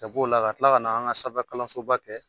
Ka b'o la a kila ka na an ka sanfɛ kalansoba kɛ